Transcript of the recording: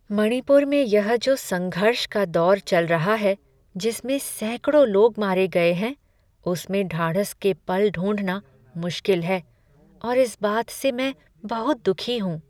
मणिपुर में यह जो संघर्ष का दौर चल रहा है जिसमें सैकड़ों लोग मारे गए हैं, उसमें ढाढ़स के पल ढूँढना मुश्किल है और इस बात से मैं बहुत दुखी हूँ।